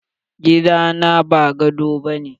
Gida na ba gado bane.